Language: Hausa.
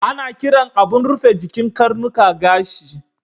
Ana kiran abun rufe jikin karnuka gashi.